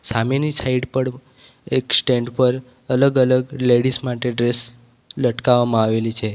સામેની સાઈડ પર એક સ્ટેન્ડ પર અલગ અલગ લેડીઝ માટે ડ્રેસ લટકાવવામાં આવેલી છે.